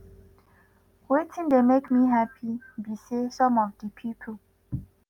“wetin dey make me happy be say some of di pipo